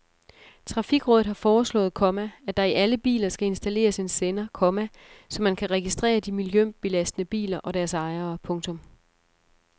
Trafikrådet har foreslået, komma at der i alle biler skal installeres en sender, komma så man kan registrere de miljøbelastende biler og deres ejere. punktum